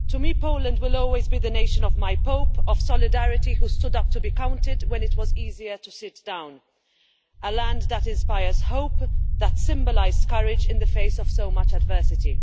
To me, Poland will always be the nation of my Pope of Solidarity, who stood up to be counted when it was easier to sit down a land that inspires hope and has symbolised courage in the face of so much adversity.